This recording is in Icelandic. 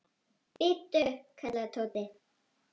Bíddu! kallaði Tóti.